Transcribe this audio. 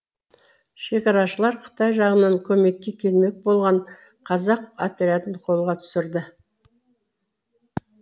шекарашылар қытай жағынан көмекке келмек болған қазақ отрядын қолға түсірді